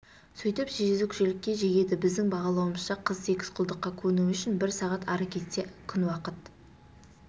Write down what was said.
сөйтіп жезөкшелікке жегеді біздің бағалауымызша қыз секс-құлдыққа көнуі үшін бір сағат ары кетсе күн уақыт